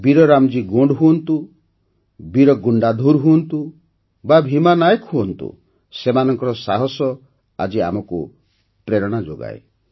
ବୀରରାମଜୀଗୋଣ୍ଡ ହୁଅନ୍ତୁ ବୀରଗୁଣ୍ଡାଧୁର ହୁଅନ୍ତୁ ବା ଭୀମା ନାୟକ ହୁଅନ୍ତୁ ସେମାନଙ୍କର ସାହସ ଆଜି ମଧ୍ୟ ଆମକୁ ପ୍ରେରଣା ଦେଇଥାଏ